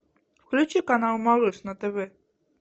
включи канал малыш на тв